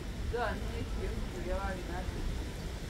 Joan nĩekire ũhiki ũrĩa warĩ na andũ aingĩ.